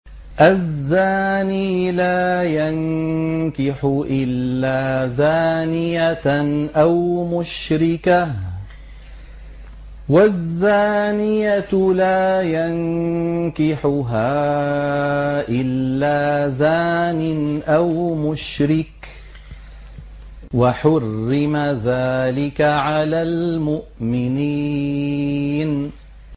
الزَّانِي لَا يَنكِحُ إِلَّا زَانِيَةً أَوْ مُشْرِكَةً وَالزَّانِيَةُ لَا يَنكِحُهَا إِلَّا زَانٍ أَوْ مُشْرِكٌ ۚ وَحُرِّمَ ذَٰلِكَ عَلَى الْمُؤْمِنِينَ